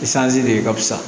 Isanzi de ka fisa